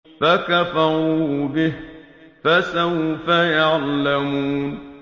فَكَفَرُوا بِهِ ۖ فَسَوْفَ يَعْلَمُونَ